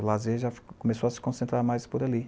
O lazer já começou a se concentrar mais por ali.